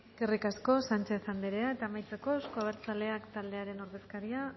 eskerrik asko sánchez andrea eta amaitzeko euzko abertzaleak taldearen ordezkaria